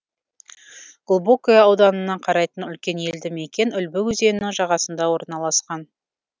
глубокое ауданына қарайтын үлкен елді мекен үлбі өзенінің жағасында орналасқан